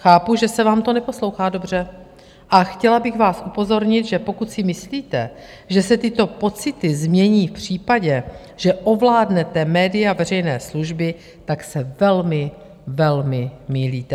Chápu, že se vám to neposlouchá dobře, a chtěla bych vás upozornit, že pokud si myslíte, že se tyto pocity změní v případě, že ovládnete média veřejné služby, tak se velmi, velmi mýlíte.